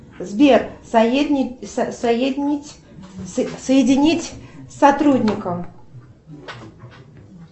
сбер соединить с сотрудником